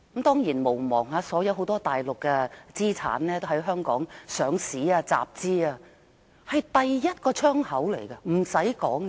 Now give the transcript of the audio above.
當然，別忘了有不少大陸的資產也在香港上市集資，因為香港是第一個窗口，這點已不在話下。